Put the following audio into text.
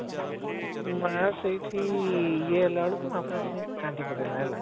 ମା ସେଇଠି ଇଏ ହେଲା ବେଳକୁ ମା ପୁରା ସେଠି କାନ୍ଦି ପକେଇଲା ହେଲା